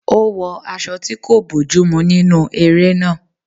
Ó wọ aṣọ tí kò bójú mú nínú eré náà